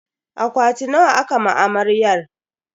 Akwati nawa aka ma amaryar?